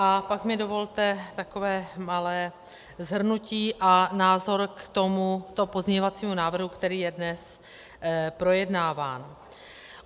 A pak mi dovolte takové malé shrnutí a názor k tomuto pozměňovacímu návrhu, který je dnes projednáván.